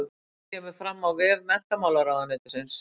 Þetta kemur fram á vef menntamálaráðuneytisins